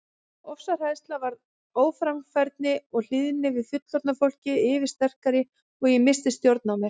Ofsahræðsla varð óframfærni og hlýðni við fullorðna fólkið yfirsterkari og ég missti stjórn á mér.